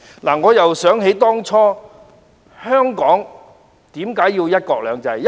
回想當初，香港為何要有"一國兩制"？